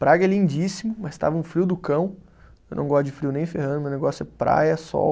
Praga é lindíssimo, mas estava um frio do cão, eu não gosto de frio nem ferrando, meu negócio é praia, sol...